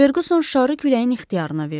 Ferguson şarı küləyin ixtiyarına verdi.